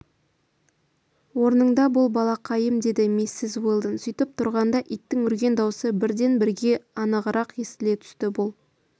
орныңда бол балақайым деді миссис уэлдон сөйтіп тұрғанда иттің үрген даусы бірден-бірге анығырақ естіле түсті бұл